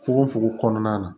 Fokon fokon kɔnɔna na